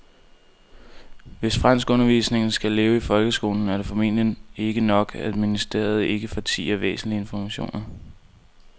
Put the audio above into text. Hvis franskundervisningen skal leve i folkeskolen er det formentlig ikke nok, at ministeriet ikke fortier væsentlig information.